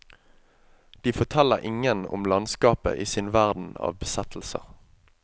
De forteller ingen om landskapet i sin verden av besettelser.